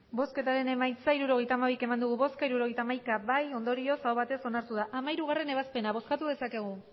bozkatu dezakegu emandako botoak hirurogeita hamabi bai hirurogeita hamaika ondorioz aho batez onartu da hamairugarrena ebazpena bozkatu dezakegu